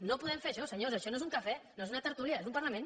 no podem fer això senyors això no és un cafè no és una tertúlia és un parlament